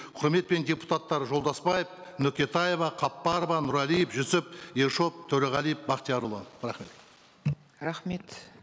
құрметпен депутаттар жолдасбаев нүкетаева қаппарова нұрәлиев жүсіп ершов төреғалиев бақтиярұлы рахмет рахмет